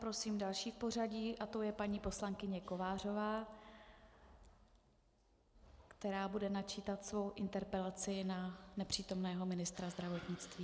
Prosím další v pořadí a tou je paní poslankyně Kovářová, která bude načítat svoji interpelaci na nepřítomného ministra zdravotnictví.